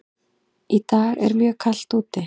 Í dag er mjög kalt úti.